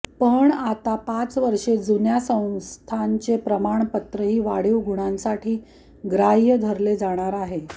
पण आता पाच वर्षे जुन्या संस्थांचे प्रमाणपत्रही वाढीव गुणांसाठी ग्राह्य धरले जाणार आहे